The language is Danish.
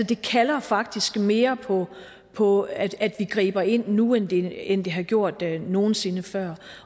det kalder faktisk mere på at vi griber ind nu end det end det har gjort nogen sinde før